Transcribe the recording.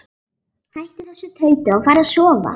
Hættu þessu tauti og farðu að sofa.